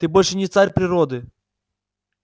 ты больше не царь природы